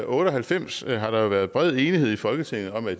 otte og halvfems har der jo været bred enighed i folketinget om at